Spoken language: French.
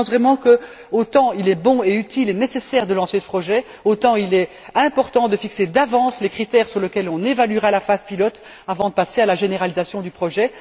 Je pense vraiment que, autant il est bon, utile et nécessaire de lancer ce projet, autant il est important de fixer d'avance les critères sur lesquels on évaluera la phase pilote, avant de passer à la généralisation du projet.